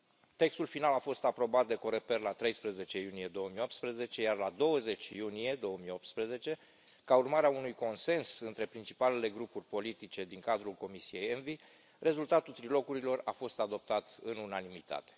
Textul final a fost aprobat de Coreper la 13 iunie 2018 iar la 20 iunie 2018, ca urmare a unui consens între principalele grupuri politice din cadrul comisiei ENVI, rezultatul trilogurilor a fost adoptat în unanimitate.